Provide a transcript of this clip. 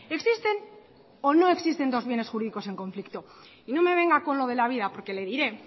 existen o no existen dos bienes jurídicos en conflicto y no me venga con lo de la vida porque le diré